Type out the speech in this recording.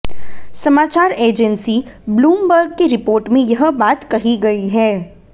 समाचार agency Bloomberg की report में यह बात कही गई है